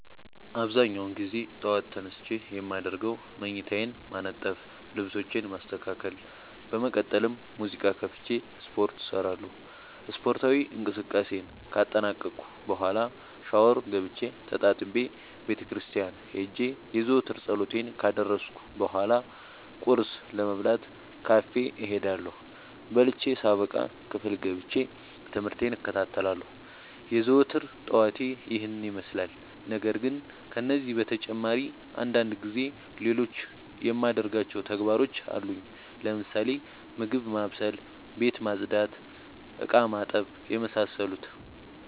አብዛኛውን ግዜ ጠዎት ተነስቼ የማደርገው መኝታዬን ማነጠፍ ልብሶቼን ማስተካከል በመቀጠልም ሙዚቃ ከፍቼ ስፓርት እሰራለሁ ስፓርታዊ እንቅስቃሴን ካጠናቀቅኩ በኋ ሻውር ገብቼ ተጣጥቤ ቤተክርስቲያን ሄጄ የዘወትር ፀሎቴን ካደረስኩ በሏ ቁርስ ለመብላት ካፌ እሄዳለሁ። በልቼ ሳበቃ ክፍል ገብቼ። ትምህርቴን እከታተላለሁ። የዘወትር ጠዋቴ ይህን ይመስላል። ነገርግን ከነዚህ በተጨማሪ አንዳንድ ጊዜ ሌሎቹ የማደርጋቸው ተግባሮች አሉኝ ለምሳሌ፦ ምግብ ማብሰል፤ ቤት መፅዳት፤ እቃማጠብ የመሳሰሉት።